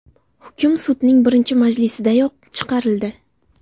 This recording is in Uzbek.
Hukm sudning birinchi majlisidayoq chiqarildi.